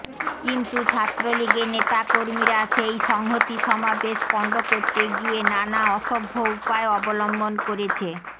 কিন্তু ছাত্রলীগের নেতাকর্মীরা সেই সংহতি সমাবেশ পণ্ড করতে গিয়ে নানা অসভ্য উপায় অবলম্বন করেছে